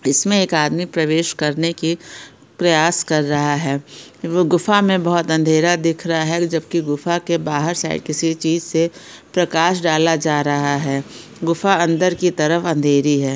इसमें एक आदमी प्रवेश करने की प्रयास कर रहा है। ये गुफा में बहोत अंधेरा दिख रहा है जबकि गुफा के बाहर साइड किसी चीज से प्रकाश डाला जा रहा है। गुफा अंदर की तरफ अंधेरी है।